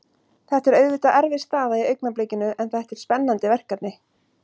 Þetta er auðvitað erfið staða í augnablikinu en þetta er spennandi verkefni.